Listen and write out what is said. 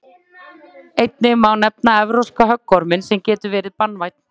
einnig má nefna evrópska höggorminn sem getur verið banvænn